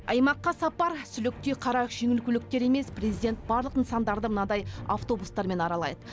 аймаққа сапар сүліктей қара жеңіл көліктер емес президент барлық нысандарды мынадай автобустармен аралайды